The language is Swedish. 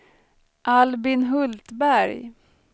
Albin Hultberg